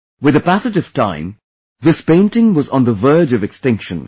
With the passage of time this painting was on the verge of extinction